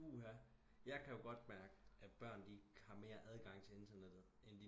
Puha jeg kan jo godt mærke at børn de har mere adgang til internettet end